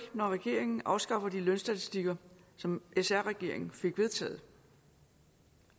når regeringen afskaffer de lønstatistikker som sr regeringen fik vedtaget